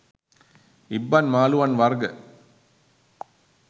ඉබ්බන් මාළුවන් වර්ග